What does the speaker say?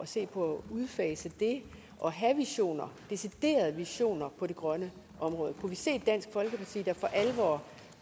se på at udfase det og have visioner deciderede visioner på det grønne område kunne vi se dansk folkeparti der for alvor